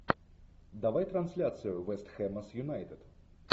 давай трансляцию вест хэма с юнайтед